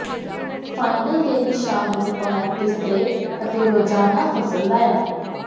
final ਦੇ ਨਿਸ਼ਾਨ ਨੂੰ ਬਾਹਰ ਬਿਸਤਰੇ ਅਤੇ ਰੋਜਾਨਾ ਫਸਲ ਲਾਇਆ